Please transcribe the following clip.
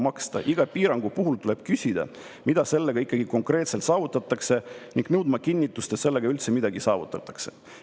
Iga piirangu puhul tuleb küsida, mida sellega ikkagi konkreetselt saavutatakse ning nõudma kinnitust, et sellega üldse midagi saavutatakse.